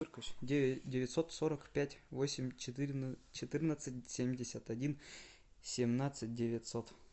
девятьсот сорок пять восемь четырнадцать семьдесят один семнадцать девятьсот